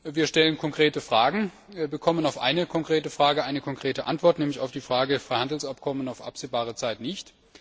Wir stellen konkrete Fragen, bekommen auf eine konkrete Frage eine konkrete Antwort, nämlich auf die Frage Freihandelsabkommen auf absehbare Zeit nicht.